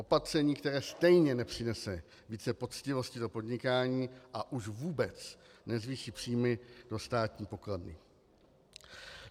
Opatření, které stejně nepřinese více poctivosti do podnikání, a už vůbec nezvýší příjmy do státní pokladny.